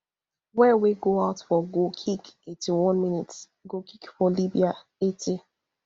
well wey go out for goal kick eighty-one minsgoal kick for libya eighty